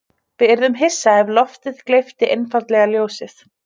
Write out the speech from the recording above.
Við yrðum hissa ef loftið gleypti einfaldlega ljósið.